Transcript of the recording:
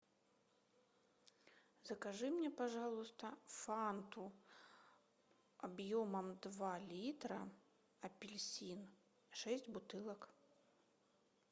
закажи мне пожалуйста фанту объемом два литра апельсин шесть бутылок